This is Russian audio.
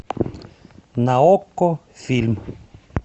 на окко фильм